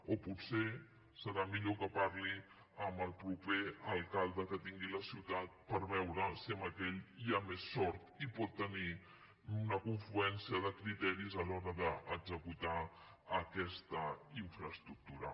o potser serà millor que parli amb el proper alcalde que tingui la ciutat per veure si amb aquell hi ha més sort i pot tenir una confluència de criteris a l’hora d’executar aquesta infraestructura